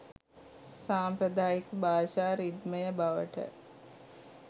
සාම්ප්‍රදායික භාෂා රිද්මය බවට